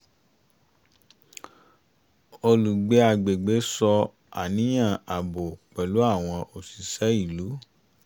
olùgbé agbègbè sọ àníyàn ààbò pẹ̀lú àwọn òṣìṣẹ́ ìlú